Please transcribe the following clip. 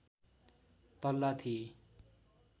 तल्ला थिए